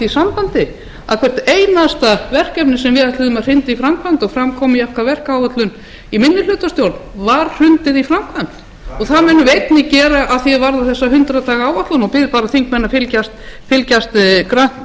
sambandi að hvert einasta verkefni sem við ætluðum að hrinda í framkvæmd og fram kom í okkar verkáætlun í minnihlutastjórn var hrundið í framkvæmd það munum við einnig gera að því er varðar þessa hundrað daga áætlun og bið bara þingmenn að fylgjast